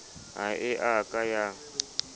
ha e a ka ya